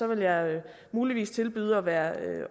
vil jeg muligvis tilbyde at være